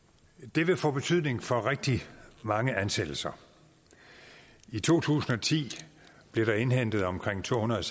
det vil få betydning for rigtig mange ansættelser i to tusind og ti blev der indhentet omkring tohundrede